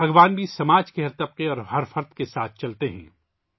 بھگوان بھی معاشرے کے ہر طبقے اور فرد کے ساتھ چلتے ہیں